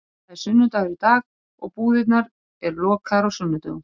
Það er sunnudagur í dag og búðirnar eru lokaðar á sunnudögum.